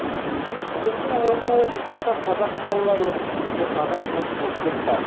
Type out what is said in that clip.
бүгінде омбы облысында қазақ балалары оқитын жиырмаға жуық мектеп бар